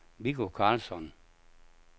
Viggo Carlsson